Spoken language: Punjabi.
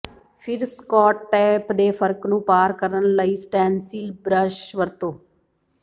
ਫਿਰ ਸਕੌਟ ਟੇਪ ਦੇ ਫਰਕ ਨੂੰ ਪਾਰ ਕਰਨ ਲਈ ਸਟੈਂਸੀਲ ਬ੍ਰਸ਼ ਵਰਤੋ